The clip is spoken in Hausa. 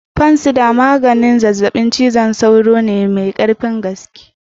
Fancidar maganin zazzabin cizon sauro ne mai karfin gaske.